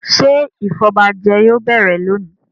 Ṣé ìfọbajẹ yóò bẹ̀rẹ̀ lónìí??